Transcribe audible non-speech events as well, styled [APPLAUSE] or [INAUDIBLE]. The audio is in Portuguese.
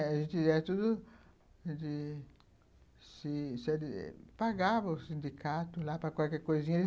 [UNINTELLIGIBLE] pagava o sindicato lá para qualquer coisinha ele